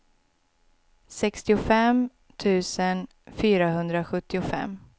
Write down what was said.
sextiofem tusen fyrahundrasjuttiofem